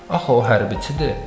Axı o hərbçidir.